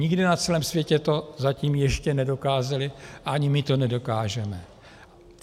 Nikde na celém světě to zatím ještě nedokázali a ani my to nedokážeme.